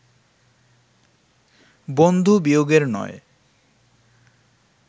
বন্ধুবিয়োগের নয়